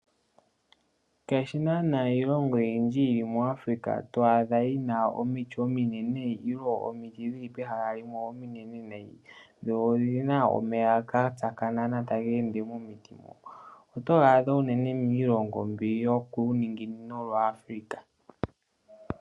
Ngaashi naanaa iilongo oyindji yomuAfrika twa adha yi na omiti ominene ilo omiti dhili pehala limwe ominenenene yo oyi na omeya ga tsakanena tage ende momiti mo. Oto ya adha unene miilongo mbi yokuuninginino wa Africa.